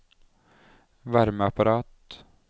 varmeapparat